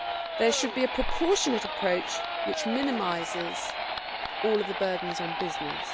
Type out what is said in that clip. There should be a proportionate approach which minimises all of the burdens on business.